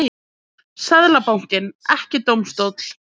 Seðlabankinn ekki dómstóll